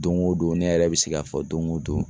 Doŋo don ne yɛrɛ bi se k'a fɔ doŋo don